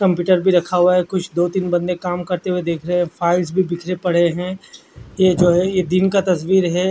Computer भी रखा हुआ है कुछ दो तीन बंदे काम करते हुए देख रहे है फाइल्स भी बिखरें पड़े हैं ये जो है दिन का तस्वीर है।